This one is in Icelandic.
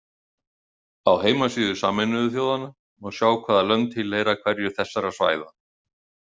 Á heimasíðu Sameinuðu þjóðanna má sjá hvaða lönd tilheyra hverju þessara svæða.